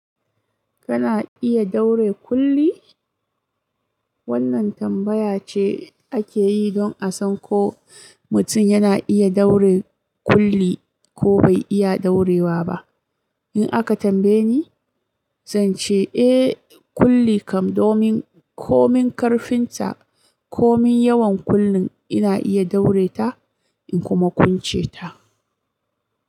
Kana iya daure kulli? Wannan tambaya ce ake yi don a san ko mutum yana iya daure kulli ko bai iya daurewa ba. In aka tambaye ni, zan ce eh, kulli kam, domin ko min karfin ta ko min yawan kullun ina iya daure ta in kuma kunce ta.